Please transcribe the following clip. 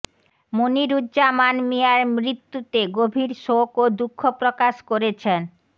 মনিরুজ্জামান মিঞার মৃত্যুতে গভীর শোক ও দুঃখ প্রকাশ করেছেন